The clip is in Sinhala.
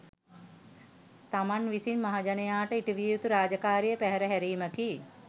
තමන් විසින් මහජනයාට ඉටුවිය යුතු රාජකාරිය පැහැර හැරීමකි